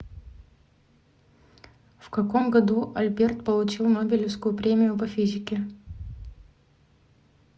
в каком году альберт получил нобелевскую премию по физике